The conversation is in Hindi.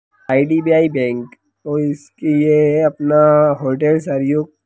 आई.डी.बी.आई. बैंक और उसकी ये अपना होटल --